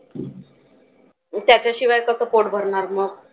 त्याच्याशिवाय कसं पोट भरणार मग.